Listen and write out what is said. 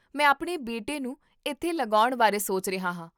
ਮੈਂ ਆਪਣੇ ਬੇਟੇ ਨੂੰ ਇੱਥੇ ਲਗਾਉਣ ਬਾਰੇ ਸੋਚ ਰਿਹਾ ਹਾਂ